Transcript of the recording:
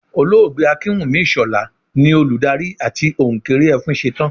Olóògbé Akínwùmí Ìṣọ̀lá ni olùdarí àti òǹkeré Ẹfúnṣetán